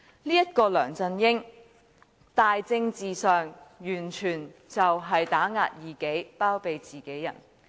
這個梁振英在政治上完全打壓異己，包庇自己人。